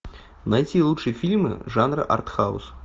найти лучшие фильмы жанра артхаус